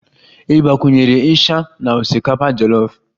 Ị gbakwunyere isha na osikapa jolof?